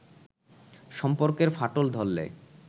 সম্পর্কের ফাটল ধরলে